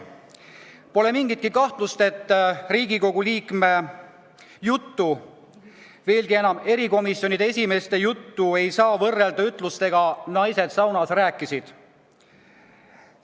Pole mingit kahtlust, et Riigikogu liikme, veel enam erikomisjonide esimeeste juttu ei saa võrrelda ütlusega "naised saunas rääkisid".